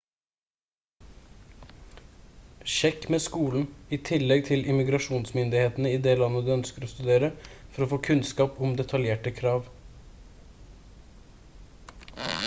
sjekk med skolen i tillegg til immigrasjonsmyndighetene i det landet du ønsker å studere for å få kunnskap om detaljerte krav